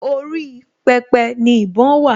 Orí pẹpẹ ni ìbọn wà